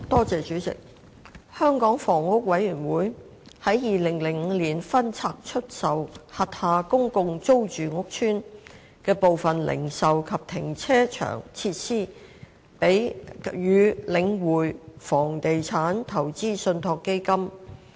主席，香港房屋委員會於2005年分拆出售轄下公共租住屋邨的部分零售及停車場設施予領匯房地產投資信託基金。